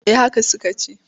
Eh haka suka ce.